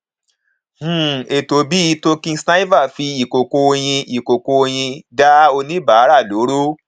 um ètò bíi token sniffer fi ìkòkò oyin ìkòkò oyin dá oníbàárà lóró